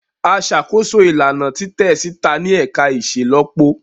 A ṣakoso ilana titẹ sita ni ẹka iṣelọpọ.